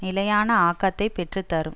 நிலையான ஆக்கத்தைப் பெற்று தரும்